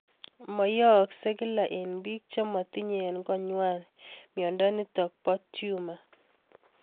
Mayaakse kila eng' pik chematinye eng' kang'wai miondo nitok po tumor